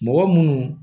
Mɔgɔ munnu